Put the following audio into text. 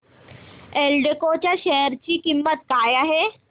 एल्डेको च्या शेअर ची किंमत काय आहे